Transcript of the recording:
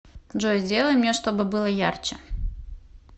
джой сделай мне чтобы было ярче